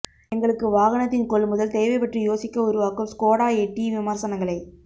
எங்களுக்கு வாகனத்தின் கொள்முதல் தேவை பற்றி யோசிக்க உருவாக்கும் ஸ்கோடா எட்டி விமர்சனங்களை